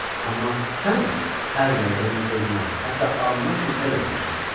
Amma sən hər dəqiqə onun zövqünə, hətta ağlına şübhə ilə yanaşırsan.